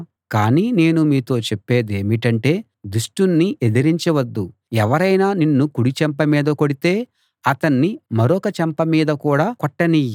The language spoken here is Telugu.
కానీ నేను మీతో చెప్పేదేమిటంటే దుష్టుణ్ణి ఎదిరించవద్దు ఎవరైనా నిన్ను కుడి చెంప మీద కొడితే అతన్ని మరొక చెంప మీద కూడా కొట్టనియ్యి